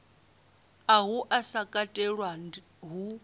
uhu u sa katelwa hu